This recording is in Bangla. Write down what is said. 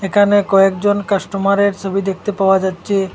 এখানে কয়েকজন কাস্টমারের ছবি দেখতে পাওয়া যাচ্ছে।